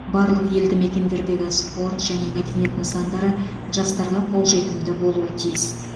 барлық елді мекендердегі спорт және мәдениет нысандары жастарға қолжетімді болуы тиіс